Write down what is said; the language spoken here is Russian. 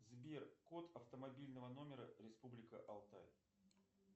сбер код автомобильного номера республика алтай